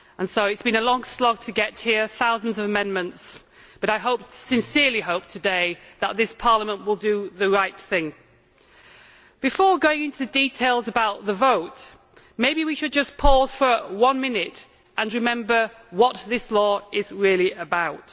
It has been a long slog to get here, with thousands of amendments, but I sincerely hope today that this Parliament will do the right thing. Before going into details about the vote, maybe we should just pause for one minute and remember what this law is really about.